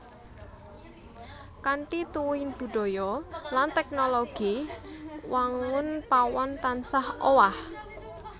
Kanthi tuwuhing budaya lan teknologi wangun pawon tansah owah